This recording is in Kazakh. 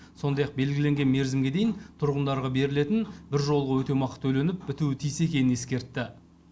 сондай ақ белгіленген мерзімге дейін тұрғындарға берілетін біржолғы өтемақы төленіп бітуі тиіс екенін ескертті